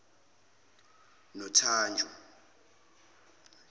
nothanjwa